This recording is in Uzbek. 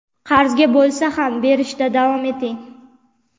qarzga bo‘lsa ham berishda davom eting.